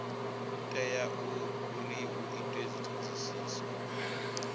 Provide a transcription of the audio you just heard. tea uri hu itwe dzithodisiso